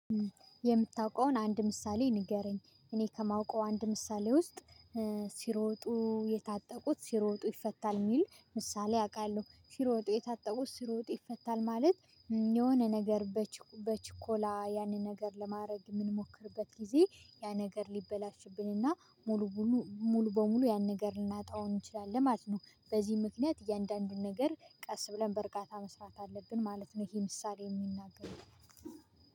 የምታውቀውን አንድ ምሳሌ ንገረኝ እኔ ከማውቀው አንድ ምሳሌ ውስጥ ሲሮጡ የታጠቁት ሲሮጡ ይፈታል የሚል ምሳሌ አውቃለሁ። ሲሮጡ የታጠቁት ሲሮጡ ይፈታል ማለት የሆነ ነገር በችኮላ ያንን ነገር ለማድረግ በምንሞክርበት ጊዜ ያ ነገር ሊበላሽብንና ሙሉ ሙሉ በሙሉ ያን ነገር ልናጣው እንችላለን ማለት ነው። በዚህ ምክንያት እያንዳንዱን ነገር ቀስ ብለን በእርግጠኝነት መስራት አለብን ማለት ነው። ይሄ ምሳሌ የሚናገር